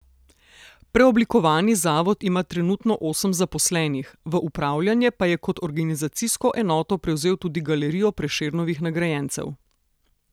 Preoblikovani zavod ima trenutno osem zaposlenih, v upravljanje pa je kot organizacijsko enoto prevzel tudi Galerijo Prešernovih nagrajencev.